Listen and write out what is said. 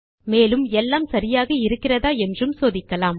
மேலும் எல்லாம் சரியாக இருக்கிறதா என்றும் சோதிக்கலாம்